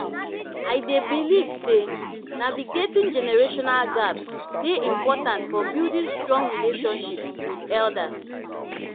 i dey believe say navigating generational gaps dey important for building strong relationships with elders.